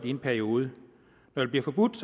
i en periode når det bliver forbudt